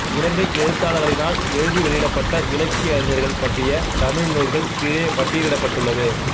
இலங்கை எழுத்தாளர்களினால் எழுதி வெளியிடப்பட்ட இலக்கிய அறிஞர்கள் பற்றிய தமிழ் நூல்கள் கீழே பட்டியலிடப்பட்டுள்ளது